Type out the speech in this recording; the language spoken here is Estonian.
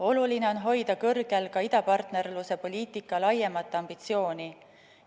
Oluline on hoida kõrgel ka idapartnerluse poliitika laiemat ambitsiooni.